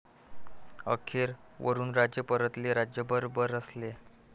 अखेर वरुणराजे परतले, राज्यभर बरसले